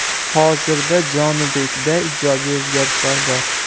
Hozirda Jonibekda ijobiy o‘zgarishlar bor.